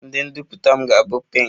Asoebi m ga-abụ pinki